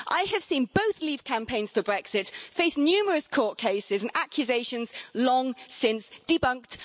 I have seen both Leave campaigns for Brexit face numerous court cases and accusations long since debunked.